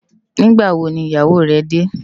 Nigbâ wó ni iyáwó rè dè?